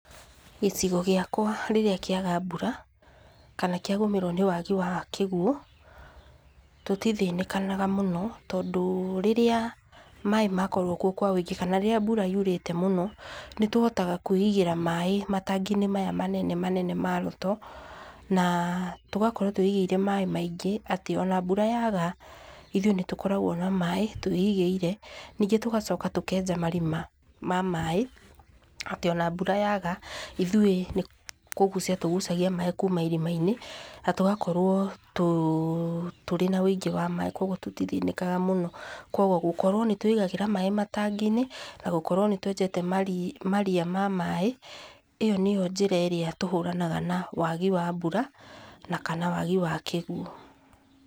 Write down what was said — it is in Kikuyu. Gĩcigo gĩakwa rĩrĩa kĩaga mbura, kana kĩagũmĩrwo nĩ wagi wa kĩguũ, tũtithĩnĩkanaga mũno, tondũ rĩrĩa maaĩ makorwo kuo kwa ũingĩ, kana rĩrĩa mbura yurĩte mũno, nĩtũhotaga kwĩigĩra maaĩ matangi-inĩ maya manene manene ma Roto, na tũgakorwo twĩigĩire maaĩ maingĩ atĩ ona mbura yaga, ithuĩ nĩtũkoragwo na maaĩ twĩigĩire, ningĩ tũgacoka tũkenja marima ma maaĩ, atĩ ona mbura yaga, ithuĩ nĩkũgucia tũgucagia maaĩ kuma irima-inĩ, na tũgakorwo tũrĩ na ũingĩ wa maaĩ, koguo tũtithĩnĩkaga mũno, koguo gũkorwo nĩtwĩigagĩra maaĩ matangi-inĩ, nagũkorwo nĩtwenjete maria ma maaĩ, ĩyo nĩyo njĩra ĩrĩa tũhũranaga na wagi wa mbura, na kana wagi wa kĩguũ.